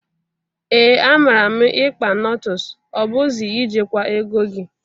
Ee, amara m ikpa notles o bụzi I jekwa ego gi.